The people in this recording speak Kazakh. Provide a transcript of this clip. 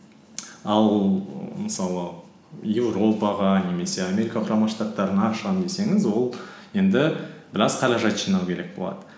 ал мысалы европаға немесе америка құрама штаттарына шығамын десеңіз ол енді біраз қаражат жинау керек болады